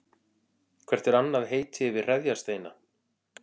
Hvert er annað heiti yfir hreðjarsteina?